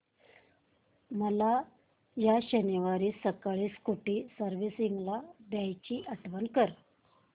मला या शनिवारी सकाळी स्कूटी सर्व्हिसिंगला द्यायची आठवण कर